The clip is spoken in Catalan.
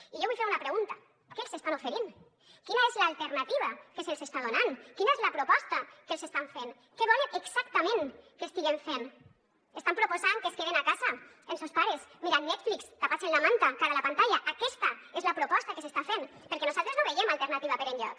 i jo vull fer una pregunta què els estan oferint quina és l’alternativa que se’ls està donant quina és la proposta que els estan fent què volen exactament que estiguen fent estan proposant que es queden a casa amb sos pares mirant netflix tapats amb la manta de cara a la pantalla aquesta és la proposta que s’està fent perquè nosaltres no veiem alternativa per enlloc